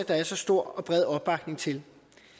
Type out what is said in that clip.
der er så stor og bred opbakning til